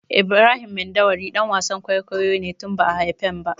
Ibrahim Mandawari ɗan wasan kwaikwayo ne tun ba'a haifen ba.